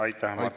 Aitäh!